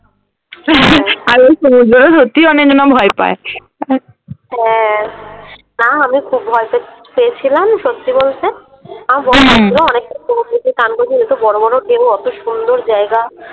আর ওই সমুদ্র সত্যি অনেকজনা ভয় পায় । হ্যাঁ। না আমি সত্যি খুব ভয় প পেয়েছিলাম সত্যি বলতে । আমার বর চান করেছিল যেহেতু বড়ো বড়ো ঢেউ অতো সুন্দর জায়গা।